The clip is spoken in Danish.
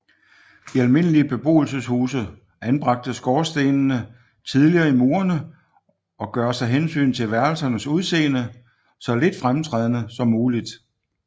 I almindelige beboelseshuse anbragtes skorstene tidligere i murene og gøres af hensyn til værelsernes udseende så lidt fremtrædende som muligt